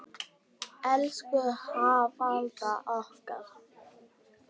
Elsku Hafalda okkar.